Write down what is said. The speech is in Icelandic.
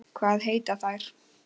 Hvað heita þær?